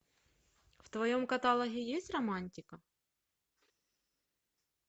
в твоем каталоге есть романтика